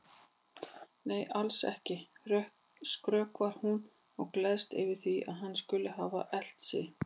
Nei, alls ekki, skrökvar hún og gleðst yfir því að hann skuli hafa elt sig.